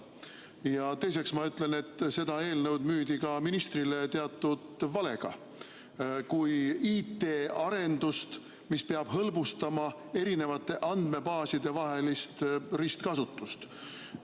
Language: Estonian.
Ja teiseks ma ütlen, et seda eelnõu müüdi ka ministrile teatud valega kui IT-arendust, mis peab hõlbustama eri andmebaaside vahelist ristkasutust.